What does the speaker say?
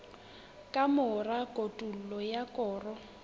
ka mora kotulo ya koro